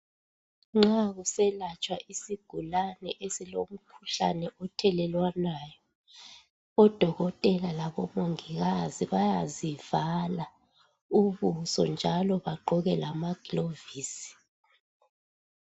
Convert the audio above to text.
Nxa kuselatshwa isigulane esilomkhuhlane othelelwanayo odokotela labomongikazi bayazivala ubuso njalo bagqoke lamaglovisi.